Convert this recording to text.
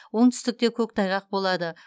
оңтүстікте көктайғақ болады